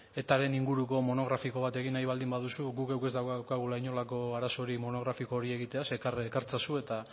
etaren inguruko monografiko bat egin nahi baldin baduzu gu geuk ez daukagula inolako arazorik monografiko hori egitea ekar itzazu eta